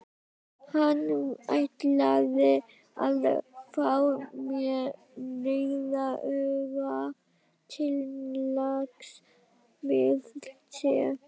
Hann ætlaði að fá mig, nauðuga, til lags við sig.